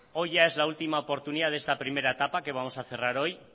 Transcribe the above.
hoy es ya la última oportunidad de este primera etapa que vamos a cerrar hoy